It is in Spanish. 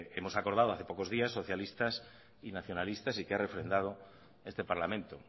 hemos acordado hace pocos días socialistas y nacionalistas y que ha refrendado este parlamento